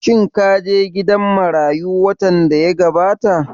Shin ka je gidan marayu watan da ya gabata?